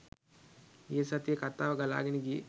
ගිය සතියේ කතාව ගලාගෙන ගියේ.